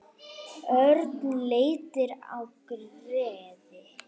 Örn leit á Gerði.